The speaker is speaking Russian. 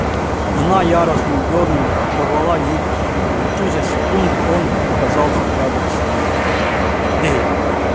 она яростно дёрнула и порвала юбку и в ту же секунду он оказался рядом с ней